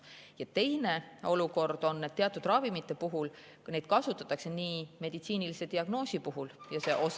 Ja teine olukord on teatud ravimite puhul, mida kasutatakse nii meditsiinilise diagnoosi puhul kui ka muuks.